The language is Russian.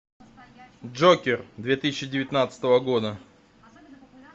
джокер две тысячи девятнадцатого года